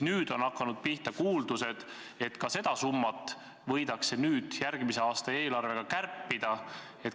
Nüüd on tekkinud kuuldused, et seda summat võidakse järgmise aasta eelarvega kärpida.